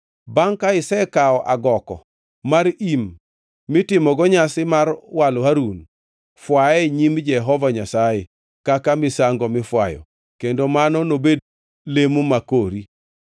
Bangʼ ka isekawo agoko mar im mitimogo nyasi mar walo Harun, fwaye e nyim Jehova Nyasaye kaka misango mifwayo kendo mano nobed lemo ma kori.